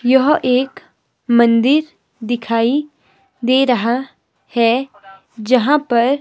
यह एक मंदिर दिखाई दे रहा है जहां पर--